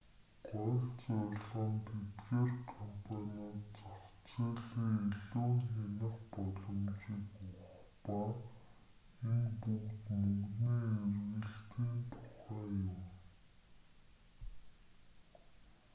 гол зорилго нь тэдгээр компаниудад зах зээлээ илүү хянах боломжийг өгөх ба энэ бүгд мөнгөний эргэлтийн тухай юм